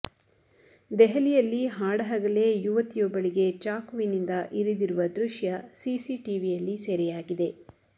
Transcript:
ದೆಹಲಿಯಲ್ಲಿ ಹಾಡಹಗಲೇ ಯುವತಿಯೊಬ್ಬಳಿಗೆ ಚಾಕುವಿನಿಂದ ಇರಿದಿರುವ ದೃಶ್ಯ ಸಿಸಿ ಟಿವಿಯಲ್ಲಿ ಸೆರೆಯಾಗಿದೆ